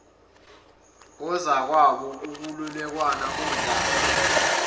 kozakwabo ukwelulekana kontanga